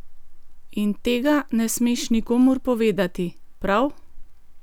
In tega ne smeš nikomur povedati, prav?